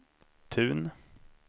Tun